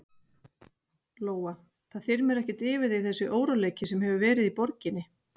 Lóa: Það þyrmir ekkert yfir þig þessi óróleiki sem hefur verið í borginni?